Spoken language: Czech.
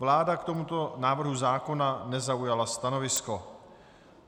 Vláda k tomuto návrhu zákona nezaujala stanovisko.